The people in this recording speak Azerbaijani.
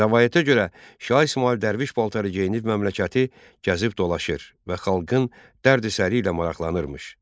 Rəvayətə görə, Şah İsmayıl dərviş paltarı geyinib məmləkəti gəzib dolaşır və xalqın dərd-səri ilə maraqlanırmış.